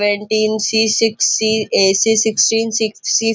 वेंटीन C six C uh C sixteen six --